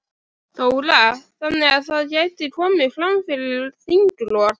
Þóra: Þannig að það gæti komið fram fyrir þinglok?